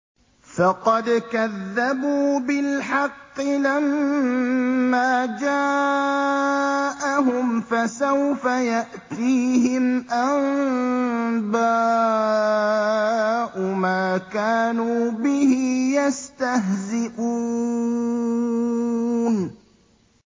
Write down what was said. فَقَدْ كَذَّبُوا بِالْحَقِّ لَمَّا جَاءَهُمْ ۖ فَسَوْفَ يَأْتِيهِمْ أَنبَاءُ مَا كَانُوا بِهِ يَسْتَهْزِئُونَ